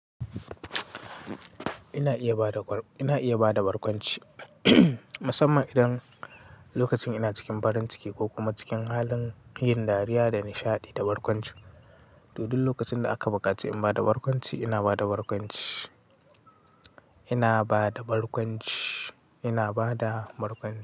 Ina iya bada barkwanci, musamman idan lokacin ina cikin farin ciki ko kuma cikin halin, yin dariya da nishaɗi, da barkwanci. To dul lokacin da aka buƙaci in bada barkwanci, ina bada barkwanci. Ina bada barkwanci, ina bada barkwanci.